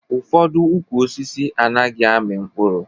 Ụfọdụ ukwu osisi anaghị amị mkpụrụ